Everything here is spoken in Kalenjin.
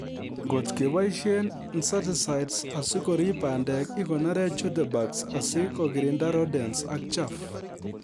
Ngot keboisie insecticides asikorib bandek ikonore jute bags asi kokirinda rodents ak chaff